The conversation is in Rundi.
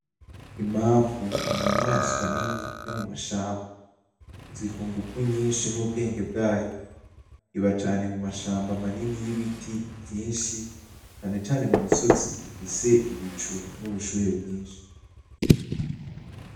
Imamfu, ninyamaswa nini yo mumashamba. Izwi kungumvu nyinshi nubwenge bwayo. Iba cane mumashamba manini yibiti vyinshi, cane cane mumisozi ifise ibicu nubushuhe bwinshi.